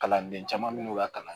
Kalanden caman bɛ n'u ka kalan